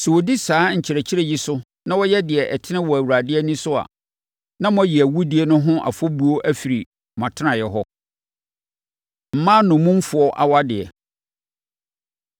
Sɛ wɔdi saa nkyerɛkyerɛ yi so na wɔyɛ deɛ ɛtene wɔ Awurade ani so a, na moayi awudie no ho afɔbuo afiri mo atenaeɛ hɔ. Mmaa Nnommumfoɔ Awadeɛ